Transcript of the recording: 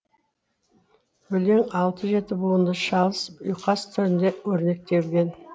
өлең алты жеті буынды шалыс ұйқас түрінде өрнектелген